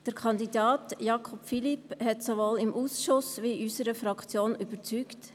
Der Kandidat Philippe Jakob hat sowohl im Ausschuss als auch in unserer Fraktion überzeugt.